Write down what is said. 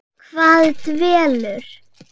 Hvað dvelur?